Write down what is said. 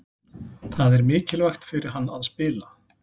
Það er mikilvægt fyrir hann að spila.